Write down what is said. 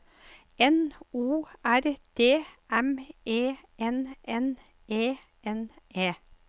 N O R D M E N N E N E